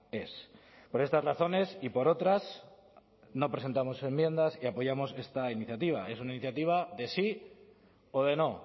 ez por estas razones y por otras no presentamos enmiendas y apoyamos esta iniciativa es una iniciativa de sí o de no